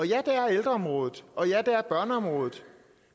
ja det er ældreområdet og ja det er børneområdet